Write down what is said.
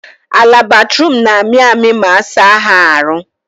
Ala Bathroom na amị amị ma asa ha arụ